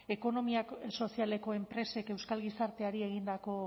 ekonomia sozialeko enpresek euskal gizarteari egindako